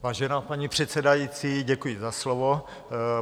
Vážená paní předsedající, děkuji za slovo.